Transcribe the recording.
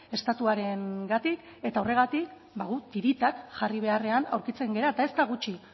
estatuarengatik eta horregatik guk tiritak jarri beharrean aurkitzen gara eta ez da gutxi